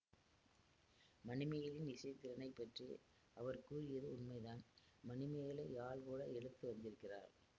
மணிமேகலையின் இசைத்திறனைப் பற்றி அவர் கூறியது உண்மைதான் மணிமேகலை யாழ் கூட எடுத்து வந்திருக்கிறாள்